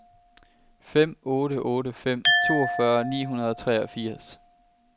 fem otte otte fem toogfyrre ni hundrede og treogfirs